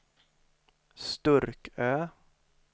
Sturkö